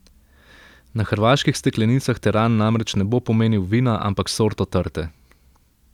Na hrvaških steklenicah teran namreč ne bo pomenil vina, ampak sorto trte.